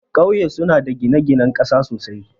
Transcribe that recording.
Kauye suna da gine-ginen ƙasa sosai,